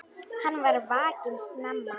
Hann var vakinn snemma.